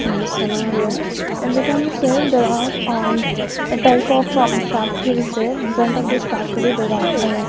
in this scenario we can say there are uh a type of factories there infront of this factory there are --